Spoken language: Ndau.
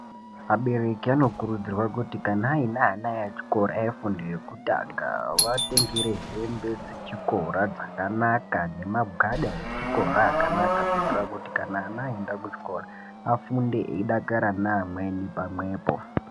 Abereki anokurudzirwa kuti kana aine ana echikora efundo yekutanga vaatengera hembe dzechikora dzakanaka nemagwada echikora akanaka kuitira kuti kana ana aenda kuchikora, afunde eidakara neamweni pamwepo.